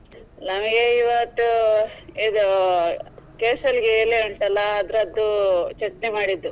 ನಮಿಗೆ ಇವತ್ತು ಇದು ಕೇಸಲ್ಲಿಗೆ ಎಲೆ ಉಂಟಲ್ಲ ಅದ್ರದ್ದು ಚಟ್ನಿ ಮಾಡಿದ್ದು.